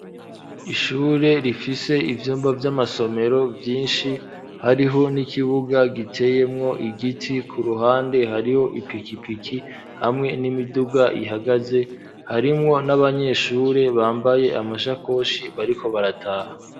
Ishure, rifise ivyumba vy'amasomero, vyinshi; hariho n'ikibuga, giteyemwo igiti; ku ruhande, hariho ipikipiki, hamwe n'imiduga ihagaze; harimwo n'abanyeshure, bambaye amashakoshi, bariko barataha.